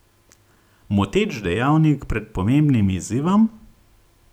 Moteč dejavnik pred pomembnim izzivom?